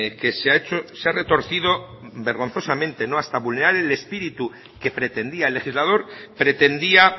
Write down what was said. que se ha hecho se ha retorcido vergonzosamente hasta vulnerar el espíritu que pretendía el legislador pretendía